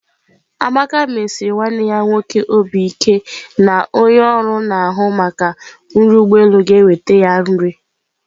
Amaka mesiri nwanne ya nwoke obi ike na onye ọrụ na-ahụ maka nri ụgbọ elu ga-eweta nri ya.